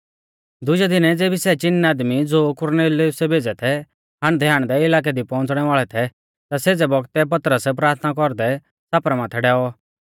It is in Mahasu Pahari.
दुजै दिनै ज़ेबी सै चिन आदमी ज़ो कुरनेलियुसै भेज़ै थै हांडदैहांडदै इलाकै दी पौउंच़णै वाल़ै थै ता सेज़ै बौगतै पतरस प्राथना कौरदै छ़ापरा माथै डैऔ